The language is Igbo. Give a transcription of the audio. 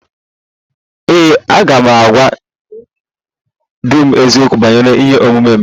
Ee e, agaghị m agwa di m eziokwu banyere ihe omume m